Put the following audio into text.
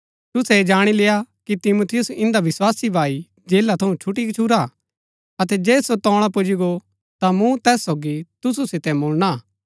तुसै ऐह जाणी लेय्आ कि तिमुथियुस ईदंआ विस्वासी भाई जेला थऊँ छुटी गछूरा हा अतै जे सो तोळा पुजी गो ता मूँ तैस सोगी तुसु सितै मुळणा हा